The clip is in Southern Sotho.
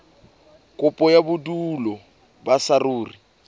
kopo ya bodulo ba saruri